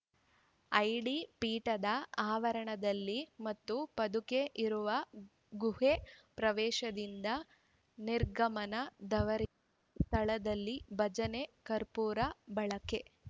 ಐಡಿಪೀಠದ ಆವರಣದಲ್ಲಿ ಮತ್ತು ಪಾದುಕೆ ಇರುವ ಗುಹೆ ಪ್ರವೇಶದಿಂದ ನಿರ್ಗಮನದವರೆಗಿನ ಸ್ಥಳದಲ್ಲಿ ಭಜನೆ ಕರ್ಪೂರ ಬಳಕೆ